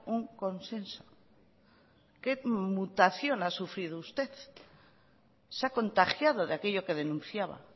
un consenso qué mutación ha sufrido usted se ha contagiado de aquello que denunciaba